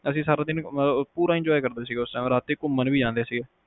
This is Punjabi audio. ਅਸੀਂ ਸਾਰਾ ਦਿਨ ਪੂਰਾ enjoy ਕਰਦੇ ਸੀਗੇ ਰਾਤੀ ਘੁੰਮਣ ਵੀ ਜਾਂਦੇ ਸੀਗੇ